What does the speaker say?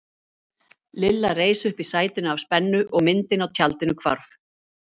Lilla reis upp í sætinu af spennu og myndin á tjaldinu hvarf.